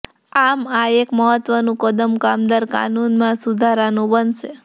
આમ આ એક મહત્ત્વનું કદમ કામદાર કાનૂનમાં સુધારાનું બનશે